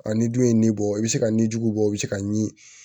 A ni dun ye nin bɔ i bɛ se ka nijugu bɔ o bɛ se ka ɲimi